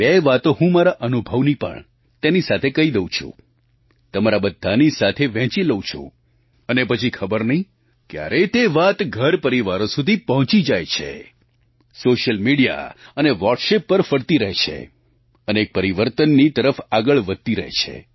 બે વાતો હું મારા અનુભવની પણ તેની સાથે કહી દઉં છું તમારા બધાંની સાથે વહેંચી લઉં છું અને પછી ખબર નહીં ક્યારે તે વાત ઘરપરિવારો સુધી પહોંચી જાય છે સૉશિયલ મિડિયા અને વૉટ્સઍપ પર ફરતી રહે છે અને એક પરિવર્તનની તરફ આગળ વધતી રહે છે